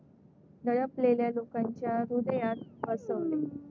दडपलेल्या लोकांच्या हृदयात असं,